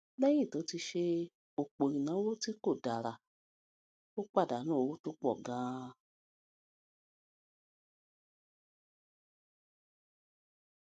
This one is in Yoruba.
léyìn tó ti ṣe òpò ìnáwó tí kò dára ó pàdánù owó tó pò ganan